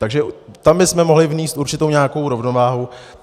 Takže tam bychom mohli vnést určitou nějakou rovnováhu.